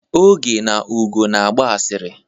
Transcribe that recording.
Oge na Ugo na-agba asịrị.